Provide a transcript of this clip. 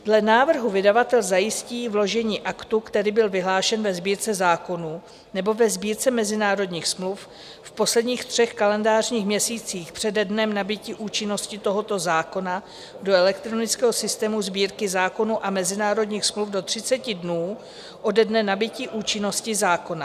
Dle návrhu vydavatel zajistí vložení aktu, který byl vyhlášen ve Sbírce zákonů nebo ve Sbírce mezinárodních smluv v posledních třech kalendářních měsících přede dnem nabytí účinnosti tohoto zákona do elektronického systému Sbírky zákonů a mezinárodních smluv do 30 dnů ode dne nabytí účinnosti zákona.